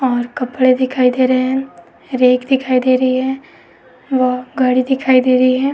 और कपड़े दिखाई दे रहे हैं रेक दिखाई दे रही है व घडी दिखाई दे रही है।